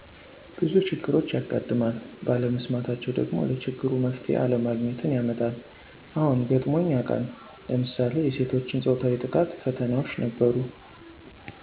ቡዙ ችግሮች ያጋጥማል ባለመስማታቸወ ደግሞ ለችግሩ መፍትሄ አለማግኜትን ያመጣል አዎገጥሞኝ ያቃል ለምሳሌ የሴቶችን ፆታዊ ጥቃትፈተናዎች ነበሩ።